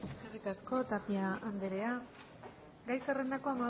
eskerrik asko tapia andrea gai zerrendako